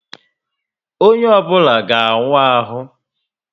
Onye obula ga awu ahu